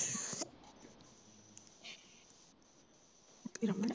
ਫੇਰ ਅਮਨ